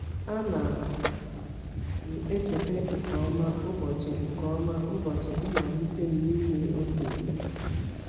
A na m echeta nke ọma ụbọchị nke ọma ụbọchị mmalite m n’ime okenye.